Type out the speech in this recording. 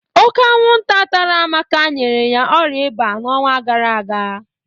Ọ́ké anwụnta tara Amaka nyere ya ọ̀rịa ịba n'ọnwa gara aga.